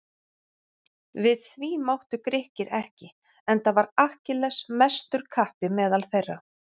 Við því máttu Grikkir ekki enda var Akkilles mestur kappi meðal þeirra.